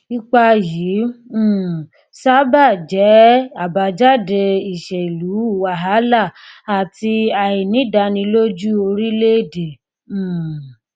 ipa yìí um sábà jẹ àbájáde ìṣèlú wàhálà àti àìnídàánilójú orílẹèdè um